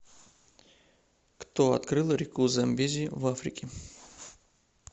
кто открыл реку замбези в африке